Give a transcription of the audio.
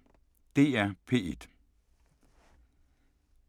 DR P1